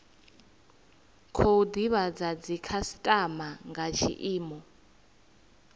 khou divhadza dzikhasitama nga tshiimo